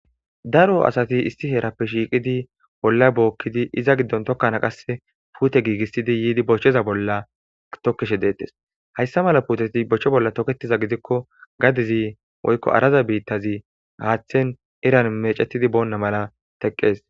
daro asati issi heerappe shiiqidi bolla bookkidi iza giddon tokkana qasse puute giigissidi yiidi bochcheza bolla tokkishe deettes hayssa mala puuteti bochche bolla toketiza gidikko gadizi woykko araza biittazi haaththen iran mecetidi boonna mala teqqees